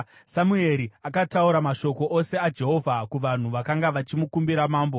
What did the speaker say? Samueri akataura mashoko ose aJehovha kuvanhu vakanga vachimukumbira mambo.